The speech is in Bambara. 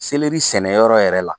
sɛnɛ yɔrɔ yɛrɛ la.